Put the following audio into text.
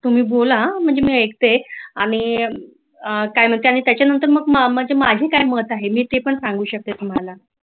तुम्ही बोला म्हणजे मी ऐकते आणि त्यानंतर मग माझे काय मत आहे मी ते पण सांगू शकते तुम्हाला